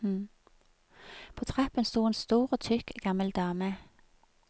På trappen stod en stor og tykk gammel dame.